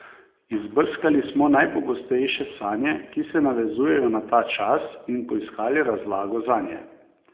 Izbrskali smo najpogostejše sanje, ki se navezujejo na ta čas, in poiskali razlago zanje.